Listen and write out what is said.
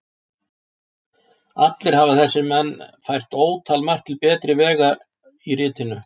Allir hafa þessir menn fært ótalmargt til betri vegar í ritinu.